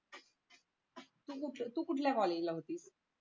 तू कुठे तू कुठल्या कॉलेजला होतीस